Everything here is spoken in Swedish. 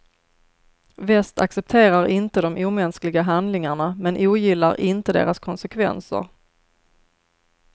Väst accepterar inte de omänskliga handlingarna men ogillar inte deras konsekvenser.